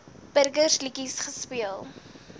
burgers liedjies gespeel